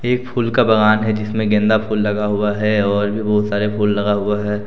ये फूल का बागान है जिसमें गेंदा फूल लगा हुआ है और भी बहुत सारे फूल लगा हुआ है।